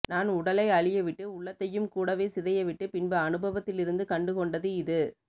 நான் உடலை அழியவிட்டு உள்ளத்தையும் கூடவே சிதையவிட்டு பின்பு அனுபவத்திலிருந்து கண்டுகொண்டது இது